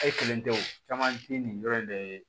E kelen tɛ o caman tɛ nin yɔrɔ in de ye